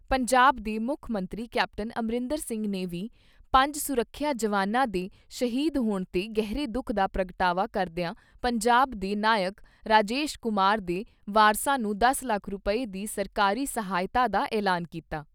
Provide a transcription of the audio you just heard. ਪੰਜਾਬ ਦੇ ਮੁੱਖ ਮੰਤਰੀ ਕੈਪਟਨ ਅਮਰਿੰਦਰ ਸਿੰਘ ਨੇ ਵੀ ਪੰਜ ਸੁਰੱਖਿਆ ਜਵਾਨਾਂ ਦੇ ਸ਼ਹੀਦ ਹੋਣ ਤੇ ਗਹਿਰੇ ਦੁੱਖ ਦਾ ਪ੍ਰਗਟਾਵਾ ਕਰਦਿਆਂ ਪੰਜਾਬ ਦੇ ਨਾਇਕ ਰਾਜੇਸ਼ ਕੁਮਾਰ ਦੇ ਵਾਰਸਾਂ ਨੂੰ ਦਸ ਲੱਖ ਰੁਪਏ ਦੀ ਸਰਕਾਰੀ ਸਹਾਇਤਾ ਦਾ ਐਲਾਨ ਕੀਤਾ।